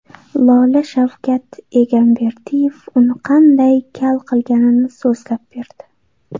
Lola Shavkat Egamberdiyev uni qanday kal qilganini so‘zlab berdi.